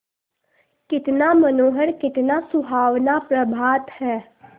कितना मनोहर कितना सुहावना प्रभात है